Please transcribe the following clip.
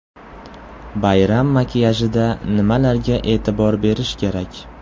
Bayram makiyajida nimalarga e’tibor berish kerak?.